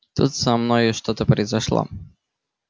тут со мной что-то произошло